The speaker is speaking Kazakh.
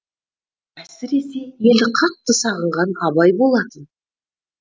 әсіресе елді қатты сағынған абай болатын